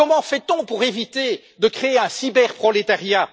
Comment fait on pour éviter de créer un cyberprolétariat?